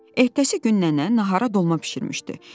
Ehtəsi gün nənə nahara dolma bişirmişdi.